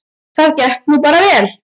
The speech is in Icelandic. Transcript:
Það gekk nú bara vel.